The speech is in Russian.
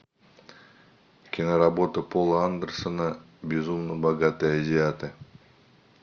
киноработа пола андерсона безумно богатые азиаты